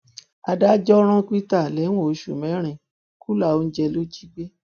adájọ rán peter lẹwọn oṣù mẹrin kùlà oúnjẹ ló jí gbé